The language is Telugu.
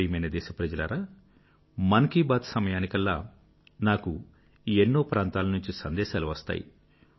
నా ప్రియమైన దేశ ప్రజలారా మన్ కీ బాత్ సమయానికల్లా నాకు ఎన్నో ప్రాంతాల నుండి సందేశాలు వస్తాయి